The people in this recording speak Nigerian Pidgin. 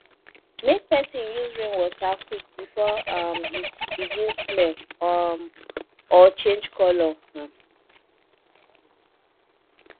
make person use rainwater quick before um e begin smell um or change colour um